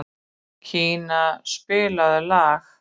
Kía, spilaðu lag.